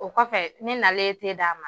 O kɔfɛ ne nalen d'a ma